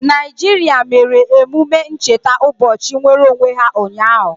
Naijiria mere emume ncheta ụbọchị nnwereonwe ha ụnyaahụ.